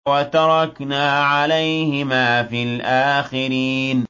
وَتَرَكْنَا عَلَيْهِمَا فِي الْآخِرِينَ